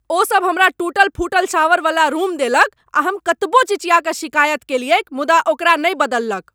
ओ सब हमरा टूटल फूटल शॉवरवला रूम देलक आ हम कतबो चिचिया कऽ शिकायत केलियैक मुदा ओकरा नहि बदललक।